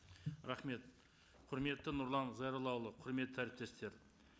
рахмет құрметті нұрлан зайроллаұлы құрметті әріптестер